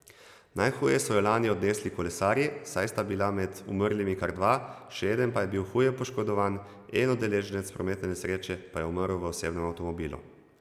Najhuje so jo lani odnesli kolesarji, saj sta bila med umrlimi kar dva, še eden pa je bil huje poškodovan, en udeleženec prometne nesreče pa je umrl v osebnem avtomobilu.